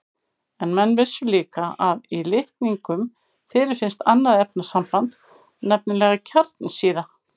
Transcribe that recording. En menn vissu líka að í litningum fyrirfinnst annað efnasamband, nefnilega kjarnsýra.